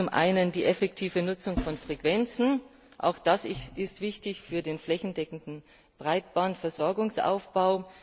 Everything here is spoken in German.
Zum einen die effektive Nutzung von Frequenzen auch das ist wichtig für den flächendeckenden Breitbandversorgungsaufbau.